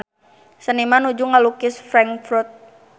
Seniman nuju ngalukis Frankfurt